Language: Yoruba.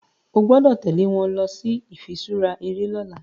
o gbódò tèlé wón ló ifiṣura eré lỌ̀la